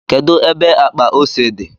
kedu ebe akpa ose di?